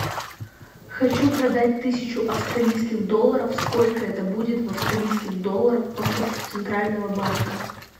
хочу продать тысячу австралийских долларов сколько это будет в австралийских долларах по курсу центрального банка